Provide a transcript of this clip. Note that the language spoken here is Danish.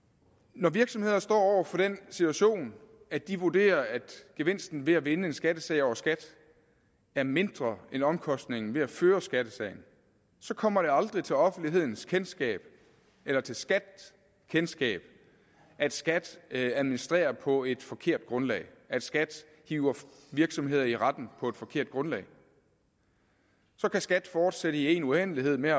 når virksomheder står over for den situation at de vurderer at gevinsten ved at vinde en skattesag over skat er mindre end omkostningen ved at føre skattesagen så kommer det aldrig til offentlighedens kendskab eller til skats kendskab at skat administrerer på et forkert grundlag at skat hiver virksomheder i retten på et forkert grundlag så kan skat fortsætte i én uendelighed med